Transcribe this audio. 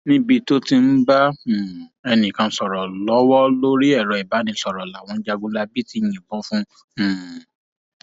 níbi tó ti ń um bá ẹnìkan sọrọ lọwọ lórí ẹrọ ìbánisọrọ làwọn jagunlabí ti yìnbọn fún um un